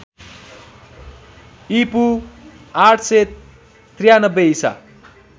ईपू ८९३ ईसा